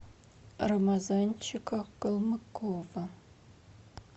рамазанчика калмыкова